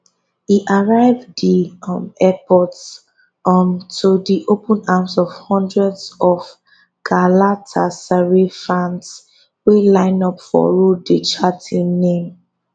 e arrive di um airport um to di open arms of hundreds of galatasaray fans wey line up for road dey chant im name